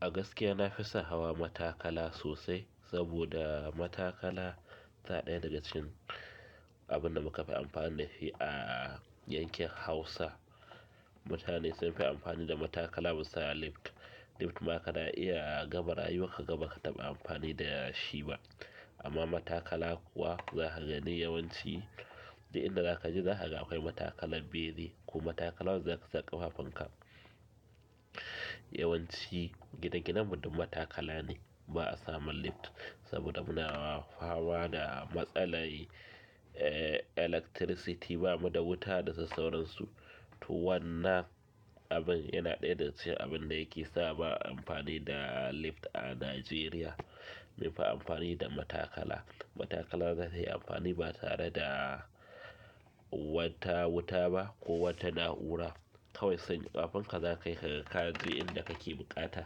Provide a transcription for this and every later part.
A gaskiya na fi son hawa matakala sosai saboda matakala ta ɗaya daga cikin abin da muka fi amfani da shi a yankin hausa. Mutane sun fi amfani da matakala musaya lift. Lift ma ka na iya a gabar ayyukaka gaba ka taɓa amfani da shi ba. Amma matakala kuwa za ka gani yawanci duk inda za ka je za ka ga akwai matakala bene ko matakala wadda za ka sa ƙafafunka. Yawanci gine ginen mu duk matakala ne ba a samun lift saboda muna famada matsalar ehhh electricity bamu da wuta da sassauransu. To wannan abin yana ɗaya daga cikin abin da yake sa ba a amfani da lift a Najeriya. Mun fi amfani da matakala. Matakala zata yi amfani ba tare da wata wuta ba ko wata na'ura. Kawai sanya ƙafafunka za kayi kaga ka je inda kake buƙata.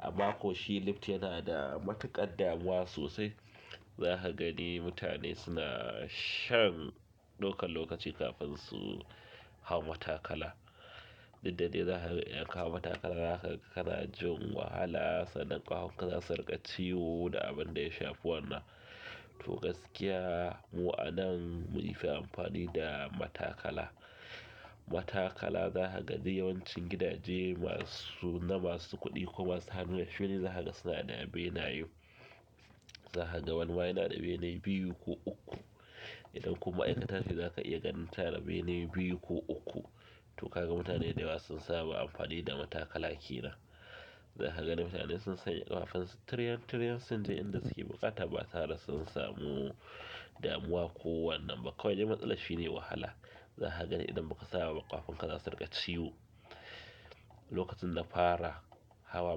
Amma ko shi lift yana da matuƙar damuwa sosai. Za ka gani mutane suna shan ɗaukan lokaci kafin su hau matakala. Dukda dai za ga in ka hau matakala haka ka na jin wahala sannan ƙafanka za su riƙa ciwo da abin da ya shafi wannan. To gaskiya mu a nan mun fi amfani da matakala. Matakala za ka gani yawancin gidaje masu na masu kuɗi ko masu hannu da shuni za ka ga suna da benaye. Za ka ga wani ma yana da bene biyu ko uku. Idan kuma ma'aikata ne za ka iya ganin tanada benaye biyu ko uku. To ka ga mutane da yawa sun saba amfani da matakala ke nan. Za ka gani mutane sun sanya ƙafansu tiryen tiryen sun je inda suke buƙata ba tare sun samu damuwa ko wannan ba. Kawai dai matsalar shi ne wahala. Za ka gani idan baka saba ba ƙafafunka za su riƙa ciwo. Lokacin dana fara hawa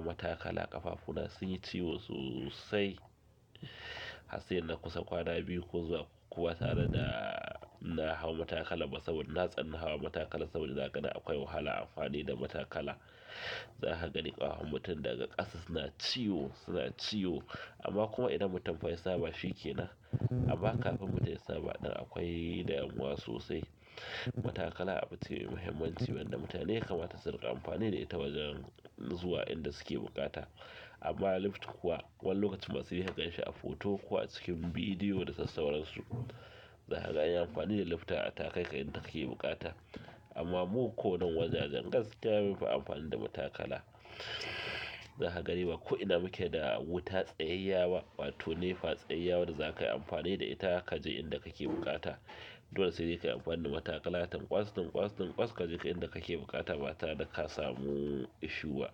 matakala ƙafafuna sun yi ciwo sosai. Har saida na kusan kwana biyu ko zuwa uku ba tare da na hau matakalar ba saboda na tsani hawa matakala saboda na gani akwai wahala amfani da matakala. Za ka gani ƙafafun mutum daga ƙasa suna ciwo suna ciwo. Amma kuma idan mutum fa ya saba shikenan amma kafin mutum ya saba ɗin akwai da damuwa sosai. Matakala abu ce mai muhimmanci wanda mutane yakamata su riƙa amfani da ita wajen zuwa inda suke buƙata. Amma lift kuwa wani lokaci ma sai dai ka ganshi a hoto ko cikin bidiyo da sassauransu. Za ka ga anyi amfani da lifta takaika inda kake buƙata. Amma mu ko nan wajajen gaskiya mun fi amfani da matakala. Za ka gani ba ko ina muke da wuta tsayayyiya ba wato Nepa tsayayyiya wanda za ka yi amfani da ita ka je inda kake buƙata. Dole sai dai ka yi amfani da matakala tunƙwas tunƙwas tunƙwas kaje inda kake buƙata ba tare da ka samu issue ba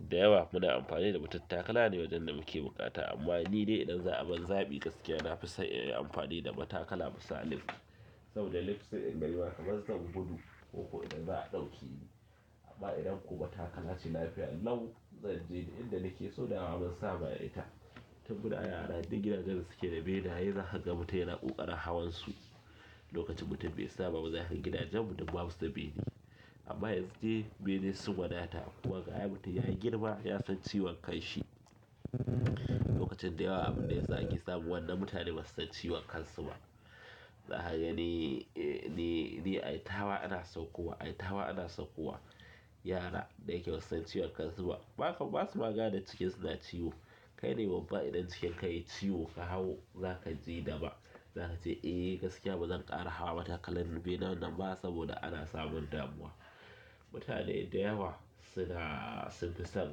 da yawa muna amfani da matattakala ne wajen da muke buƙata. Amma ni dai idan za a ban zaɓi gaskiya na fi son inyi amfani da matakala abisa lift. Saboda lift sai in gani ma kamar zan gudu ko kuwa idan za a ɗauke ni. Amma idan ko matakala ce lafiya lau zan je duk inda nake so dama mun saba da ita. Tun muna yara duk gidajen dasuke da benaye zakaga mutum yana ƙoƙarin hawarsu lokacin mutum bai saba ba zakaga gidajen mu duk babu step ɗin amma yanzu dai bene sun wadata kuma gashi mutum ya girma ya san ciwon kan shi. Lokacin dayawa abin da yasa ake samu wannan mutane ba su san ciwon kan su ba za ka gani ni ai ta hawa ana saukowa ai ta hawa ana saukowa. Yara da yake ba su san ciwon kan su ba ba kam basu ma gane jikin su na ciwo. Kai ne babba idan cikin ka yayi ciwo ka hau zaka ji daban. Za kace eh gaskiya bazan ƙara hawa matakala bene nan ba saboda ana samun damuwa. Mutane da yawa suna sun fi son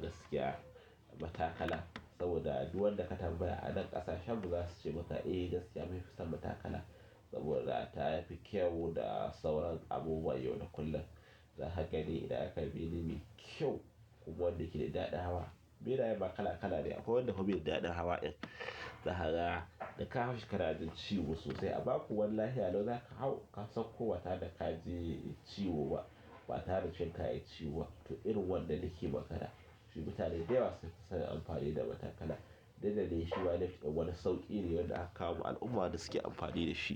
gaskiya matakala. Saboda duk wanda ka tambaya a nan ƙasashen mu za su ce maka eh gaskiya mun fi son matakala. Saboda ta yafi kyau da sauran abubuwan yau da kullum. Za ka gani idan akayi bene mai kyau kuma wanda yake da daɗin hawa. Benayen ma kala kala ne akwai wanda bai da daɗin hawa ɗin zaka ga da ka hau shi ka na jin ciwo sosai. Amma kuwa wani lahiya lau za ka hau ka sauko ba tare da ka ji ciwo ba. Ba tare da cikin ka yayi ciwo ba. To irin wannan nake magana shi mutane da yawa sun fi son amfani da matakala. Dukda dai shima lift ɗin wani sauƙi ne wanda aka kawo ma al'umma da suke amfani da shi.